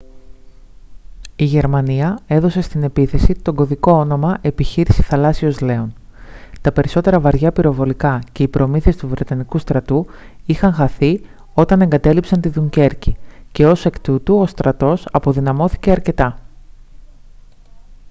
η γερμανία έδωσε στην επίθεση το κωδικό όνομα «επιχείρηση θαλάσσιος λέων». τα περισσότερα βαριά πυροβολικά και οι προμήθειες του βρετανικού στρατού είχαν χαθεί όταν εγκατέλειψαν τη δουνκέρκη και ως εκ τούτου ο στρατός αποδυναμώθηκε αρκετά